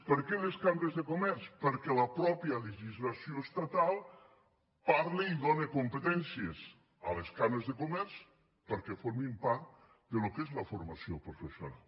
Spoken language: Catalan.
per què les cambres de comerç perquè la mateixa legislació estatal parla i dóna competències a les cambres de comerç perquè formin part del que és la formació professional